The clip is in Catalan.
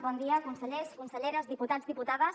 bon dia consellers i conselleres diputats i diputades